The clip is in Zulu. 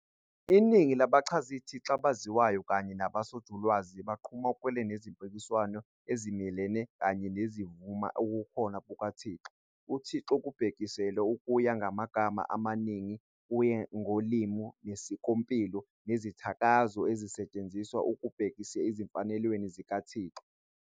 Iningi labachazithixo abaziwayo kanye nabosonjulalwazi baqhamuke nezimpikiswano ezimelene kanye nezivuna ubukhona bukaThixo. UThixo kubhekiselwa kuye ngamagama amaningi kuye ngolimi nesikompilo nezithakazo ezisetshenziswa ekubhekisela ezimfanelweni zikaThixo.